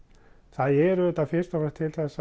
það er auðvitað fyrst og fremst til